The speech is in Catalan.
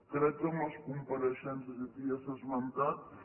crec que amb les compareixences i aquí ja s’ha esmentat